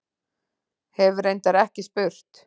Hef reyndar ekki spurt.